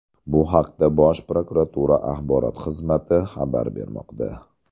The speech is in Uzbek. Bu haqda Bosh prokuratura axborot xizmati xabar bermoqda .